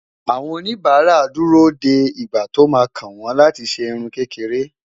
àwọn oníbara dù rò dé ìgbà tó má kàn wọn láti ṣé irún kékeré